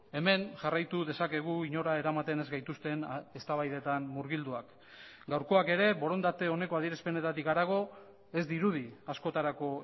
hemen jarraitu dezakegu inora eramaten ez gaituzten eztabaidetan murgilduak gaurkoak ere borondate oneko adierazpenetatik harago ez dirudi askotarako